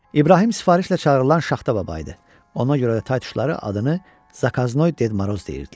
İbrahim sifarişlə çağırılan Şaxta baba idi, ona görə də taytuşları adını zakaznoy Ded Moroz deyirdilər.